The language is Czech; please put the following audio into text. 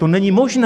To není možné!